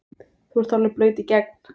þú ert alveg blaut í gegn!